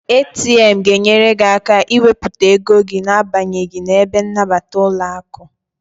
ATM ga enyere gị aka ị wepụta ego gị na abanyeghi n'ebe nnabata ụlọaku